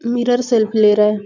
Mirror selfie ले रहा हैं।